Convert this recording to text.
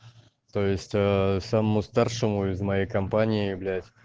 то есть самому старшему из моей компании блять